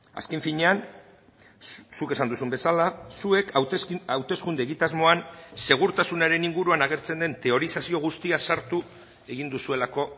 azken finean zuk esan duzun bezala zuek hauteskunde egitasmoan segurtasunaren inguruan agertzen den teorizazio guztia sartu egin duzuelako